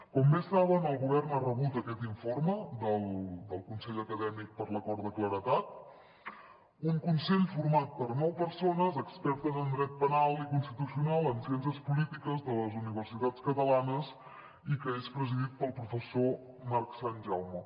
com bé saben el govern ha rebut aquest informe del consell acadèmic per a l’acord de claredat un consell format per nou persones expertes en dret penal i constitucional en ciències polítiques de les universitats catalanes i que és presidit pel professor marc sanjaume